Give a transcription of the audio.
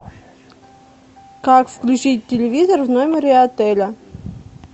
как включить телевизор в номере отеля